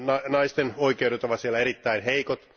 Naisten oikeudet ovat siellä erittäin heikot.